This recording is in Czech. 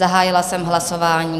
Zahájila jsem hlasování.